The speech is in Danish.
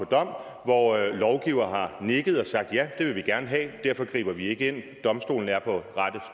dom og lovgivere har nikket og sagt ja det vil vi gerne have og derfor griber vi ikke ind domstolene er på